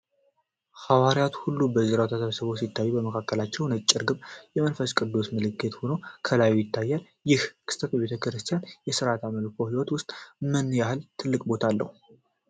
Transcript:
ሐዋርያት ሁሉ በዙሪያዋ ተሰብስበው ሲታዩ፤ በመካከላቸው ነጭ ርግብ የመንፈስ ቅዱስ ምልክት ሆና ከላይ ትታያለች። ይህ ክስተት በቤተ ክርስቲያኒቱ የሥርዓተ አምልኮ ሕይወት ውስጥ ምን ያህል ትልቅ ቦታ አለው?